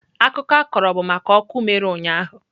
Akụkọ a kọrọ bụ maka ọkụ mere ụnyahụ.